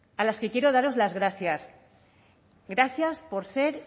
a las que quiero daros las gracias gracias por ser